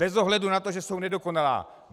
Bez ohledu na to, že jsou nedokonalá.